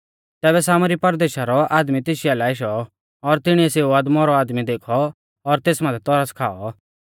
तैबै सामरी ज़ाती रौ आदमी तेशी आलै आशौ और तिणीऐ सेऊ अदमौरौ आदमी देखौ और तेस माथै तरस खाई